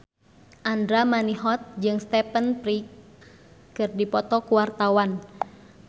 Andra Manihot jeung Stephen Fry keur dipoto ku wartawan